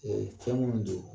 Ee fɛn minnu don